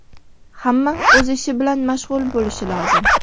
Hamma o‘z ishi bilan mashg‘ul bo‘lishi lozim.